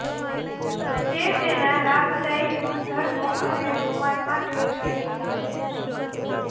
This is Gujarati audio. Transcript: તે તેના લાભદાયી ગુણધર્મો અને રોવાન માટે જાણીતું છે